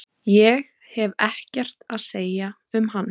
Ég hef ekkert að segja um hann.